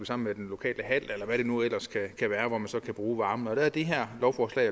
sammen med den lokale hal eller hvad det nu ellers kan være hvor man så kan bruge varmen der er det her lovforslag